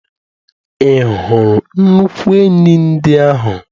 Ị hụrụ nnukwu enyí ndị ahụ?